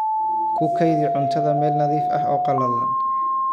Ku kaydi cuntada meel nadiif ah oo qallalan.